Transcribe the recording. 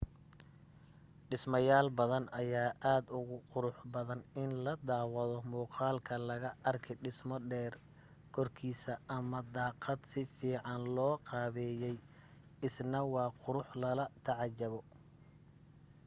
dhismayaal badan ayaa aad ugu qurux badan in la daawado muuqaalka laga arki dhismo dheer korkiisa ama daaqad si fiican loo qaabeeyay isna waa qurux lala tacajabo